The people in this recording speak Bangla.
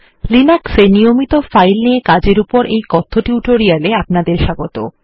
Linux এ নিয়মিত ফাইল নিয়ে কাজের উপর এই কথ্য টিউটোরিয়াল এ অপনাদের স্বাগত